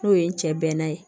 N'o ye n cɛ bɛnna ye